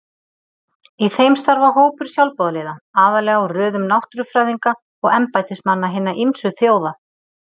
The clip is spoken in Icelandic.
Í þeim starfa hópur sjálfboðaliða, aðallega úr röðum náttúrufræðinga og embættismanna hinna ýmsu þjóða.